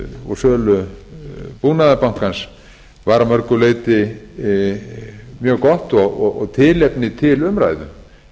og sölu búnaðarbankans var að mörgu leyti mjög gott og tilefni umræðu